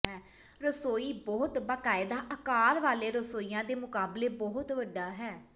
ਰਸੋਈ ਬਹੁਤ ਬਾਕਾਇਦਾ ਆਕਾਰ ਵਾਲੇ ਰਸੋਈਆਂ ਦੇ ਮੁਕਾਬਲੇ ਬਹੁਤ ਵੱਡਾ ਹੈ